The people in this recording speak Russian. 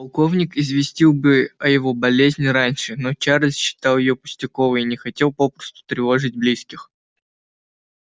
полковник известил бы о его болезни раньше но чарльз считал её пустяковой и не хотел попусту тревожить близких